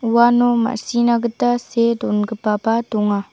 uano ma·sina gita see dongipaba donga.